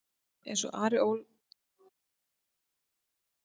Eins og Ari Ólafsson bendir á í svari við spurningunni Af hverju er himinninn blár?